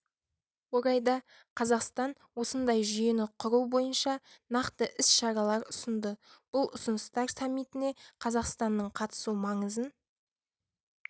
орайда қазақстан осындай жүйені құру бойынша нақты іс-шаралар ұсынды бұл ұсыныстар саммитіне қазақстанның қатысу маңызын